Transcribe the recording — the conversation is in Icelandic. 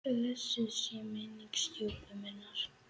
Blessuð sé minning stjúpu minnar.